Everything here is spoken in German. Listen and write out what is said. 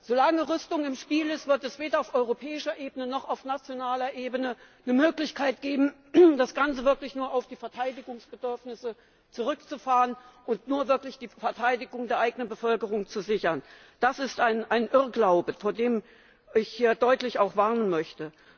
Solange Rüstung im Spiel ist, wird es weder auf europäischer Ebene noch auf nationaler Ebene eine Möglichkeit geben, das Ganze wirklich nur auf die Verteidigungsbedürfnisse zurückzufahren und wirklich nur die Verteidigung der eigenen Bevölkerung zu sichern. Das ist ein Irrglaube, vor dem ich hier auch deutlich warnen möchte.